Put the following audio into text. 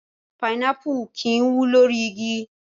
Pinápù kì í wù lórí igi.